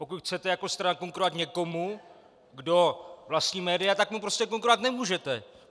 Pokud chcete jako strana konkurovat někomu, kdo vlastní média, tak mu prostě konkurovat nemůžete!